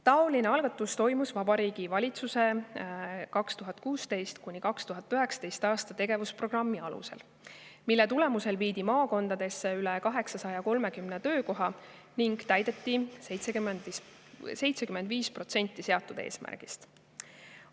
" Taoline algatus tehti Vabariigi Valitsuse 2016–2019 tegevusprogrammi alusel, mille tulemusel viidi maakondadesse üle 830 töökoha ning täideti 75% seatud eesmärgist.